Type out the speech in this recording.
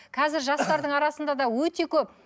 қазір жастардың арасында да өте көп